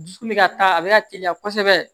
Dusukun bɛ ka a bɛ ka teliya kosɛbɛ